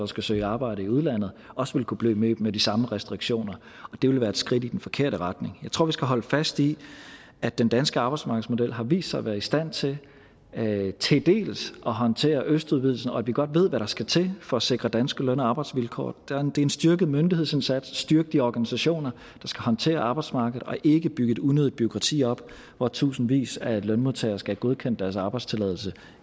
skal søge arbejde i udlandet også ville kunne blive mødt med de samme restriktioner og det ville være et skridt i den forkerte retning jeg tror vi skal holde fast i at den danske arbejdsmarkedsmodel har vist sig at være i stand til til delvis at håndtere østudvidelsen og at vi godt ved hvad der skal til for at sikre danske løn og arbejdsvilkår det er en styrket myndighedsindsats styrk de organisationer der skal håndtere arbejdsmarkedet og ikke bygge et unødigt bureaukrati op hvor tusindvis af lønmodtagere skal have godkendt deres arbejdstilladelse